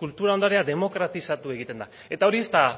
kultura ondarea demokratizatu egiten da eta hori ez da